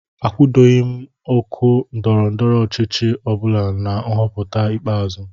Akwadoghị m otu ndọrọ ndọrọ ọchịchị ọbụla nhọpụta ikpeazụ